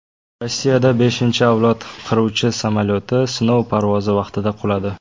Rossiyada beshinchi avlod qiruvchi samolyoti sinov parvozi vaqtida quladi.